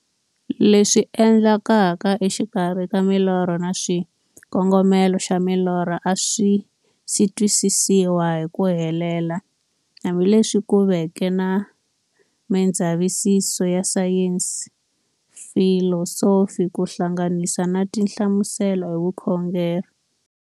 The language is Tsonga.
Leswi endlekaka e xikarhi ka milorho na xikongomelo xa milorho a swisi twisisiwa hi ku helela, hambi leswi ku veke na mindzavisiso ya sayensi, filosofi ku hlanganisa na tinhlamuselo hi vukhongori.